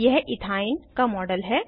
यह इथाइन का मॉडल है